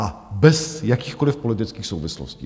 A bez jakýchkoliv politických souvislostí.